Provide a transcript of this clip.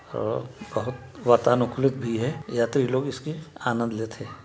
अ-बोहत वातानुकूलित भी है यात्री लोग इसके आनंद लेथे।